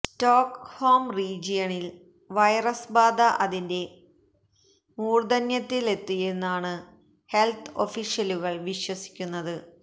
Stockholm റീജിയണലിൽ വൈറസ് ബാധ അതിന്റെ മൂർധന്യത്തിലെത്തിയെന്നണാണ് ഹെൽത്ത് ഒഫീഷ്യലുകൾ വിശ്വസിക്കുന്നത്